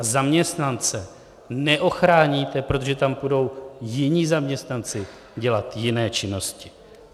A zaměstnance neochráníte, protože tam půjdou jiní zaměstnanci dělat jiné činnosti.